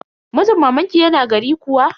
Mijin mamanki yana gari kuwa?